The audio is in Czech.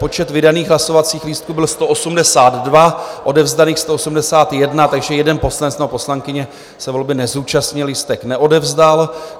Počet vydaných hlasovacích lístků byl 182, odevzdaných 181, takže jeden poslanec nebo poslankyně se volby nezúčastnil, lístek neodevzdal.